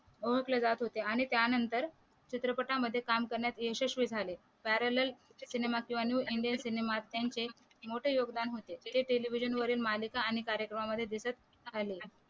आणि त्यानंतर चित्रपटामध्ये काम करण्यात यशस्वी झाले पॅरेलेल सिनेमा किंवा न्यू इंडियन सिनेमात त्यांचे मोठे योगदान होते ते टेलिव्हिजन वरील मालिका आणि कार्यक्रमामध्ये दिसत आले